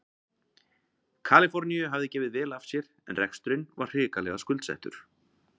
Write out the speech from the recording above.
Kaliforníu hafði gefið vel af sér en reksturinn var hrikalega skuldsettur.